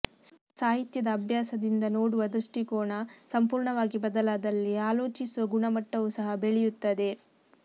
ಸಾಹಿತ್ಯದ ಅಭ್ಯಾಸದಿಂದ ನೋಡುವ ದೃಷ್ಟಿಕೋನ ಸಂಪೂರ್ಣವಾಗಿ ಬದಲಾದಲ್ಲಿ ಆಲೋಚಿಸುವ ಗುಣಮಟ್ಟವೂ ಸಹ ಬೆಳೆಯುತ್ತದೆ